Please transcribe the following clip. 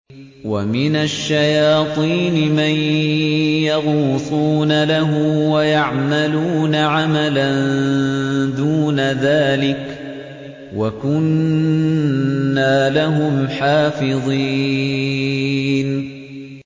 وَمِنَ الشَّيَاطِينِ مَن يَغُوصُونَ لَهُ وَيَعْمَلُونَ عَمَلًا دُونَ ذَٰلِكَ ۖ وَكُنَّا لَهُمْ حَافِظِينَ